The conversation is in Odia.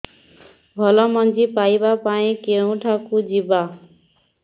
ଭଲ ମଞ୍ଜି ପାଇବା ପାଇଁ କେଉଁଠାକୁ ଯିବା